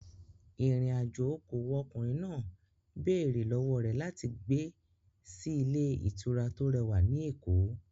Ìrìn-àjò okòwò ọkùnrin náà béèrè lọ́wọ́ rẹ̀ láti gbé sí ilé ìtura tó rẹwà ní Èkó.